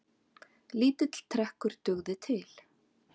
Lítill trekkur dugði til.